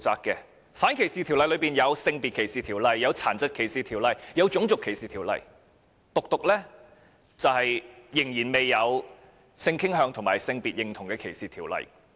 在反歧視條例當中，有《性別歧視條例》、《殘疾歧視條例》和《種族歧視條例》，唯獨仍然未有有關性傾向及性別認同歧視的條例。